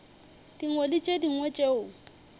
dingwe le tše dingwe tšeo